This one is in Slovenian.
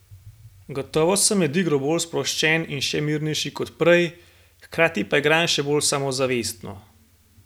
Gotovo sem med igro bolj sproščen in še mirnejši kot prej, hkrati pa igram še bolj samozavestno.